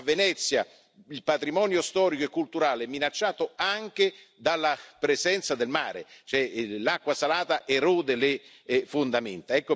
A Venezia il patrimonio storico e culturale è minacciato anche dalla presenza del mare, visto che l'acqua salata erode le fondamenta.